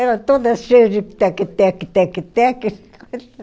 Era toda cheia de tec, tec, tec, tec.